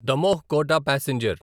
Damoh Kota passenger